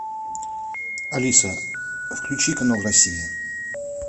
алиса включи канал россия